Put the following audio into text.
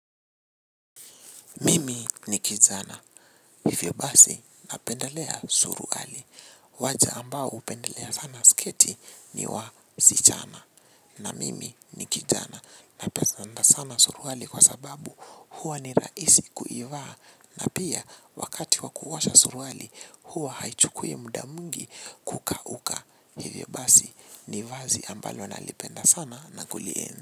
Mimi ni kijana, hivyo basi na pendelea suruali. Waja ambao hupendelea sana sketi ni wasichana. Na mimi ni kijana na pesanda sana suruali kwa sababu huwa ni rahisi kuivaa. Na pia wakati wa kuosha suruali huwa haichukui muda mwingi kuka uka. Hivyo basi ni vazi ambalo nalipenda sana na kulienzi.